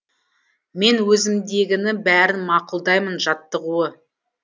мен өзімдегіні бәрін мақұлдаймын жаттығуы